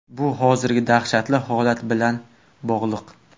Bu hozirgi dahshatli holat bilan bog‘liq.